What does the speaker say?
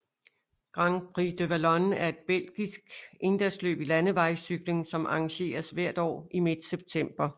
Grand Prix de Wallonie er et belgisk endagsløb i landevejscykling som arrangeres hvert år i midt september